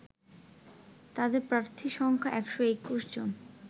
তাদের প্রার্থী সংখ্যা ১২১ জন